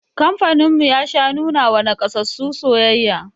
Kamfanin mu ya sha nuna wa nakasassu soyayya